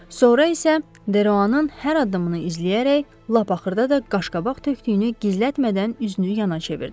Sonra isə Deruanın hər addımını izləyərək, lap axırda da qaşqabaq tökdüyünü gizlətmədən üzünü yana çevirdi.